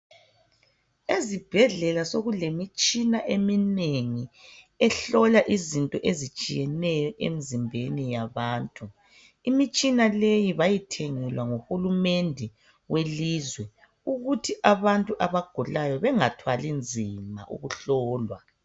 Ezibhedlela sokulemitshina eminengi ehlola izinto ezitshiyeneyo emzimbeni yabantu. Imitshina leyi bayithengelwa nguhulumende welizwe ukuthi abantu abagulayo bengathwali nzima ukuhlolwa.